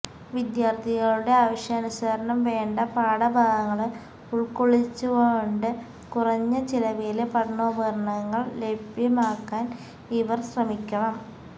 വിദ്യാര്ഥികളുടെ ആവശ്യാനുസരണം വേണ്ട പാഠഭാഗങ്ങള് ഉള്ക്കൊള്ളിച്ചുകൊണ്ട് കുറഞ്ഞ ചിലവില് പഠനോപകരണങ്ങള് ലഭ്യമാക്കാന് ഇവര് ശ്രമിക്കണം